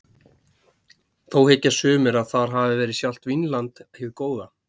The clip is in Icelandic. Þó hyggja sumir að þar hafi verið sjálft Vínland hið góða.